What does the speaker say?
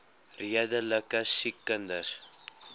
redelike siek kinders